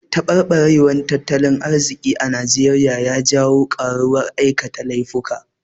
Taɓarɓarewar tattalin arziki a Naijeriya ya janwo ƙaruwar aikata laifuka.